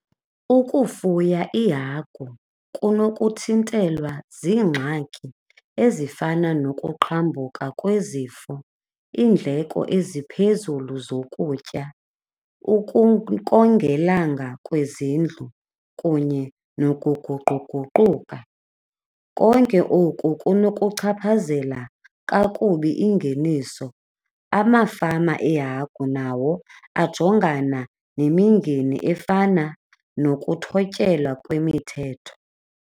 Ukufuya iihagu kunokuthintelwa ziingxaki ezifana nokuqhambuka kwezifo, iindleko eziphezulu zokutya, ukongelanga kwezindlu kunye nokuguquguquka. Konke oku kunokuchaphazela kakubi ingeniso amafama eehagu nawo ajongana nemingeni efana nokuthotyelwa kwemithetho.